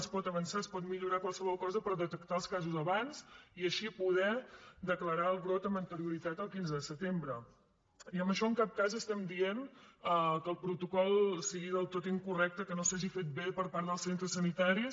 es pot avançar es pot millorar qualsevol cosa per detectar els casos abans i així poder declarar el brot amb anterioritat al quinze de setembre i amb això en cap cas estem dient que el protocol sigui del tot incorrecte que no s’hagi fet bé per part dels centres sanitaris